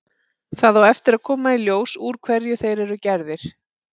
Það á eftir að koma í ljós úr hverju þeir eru gerðir.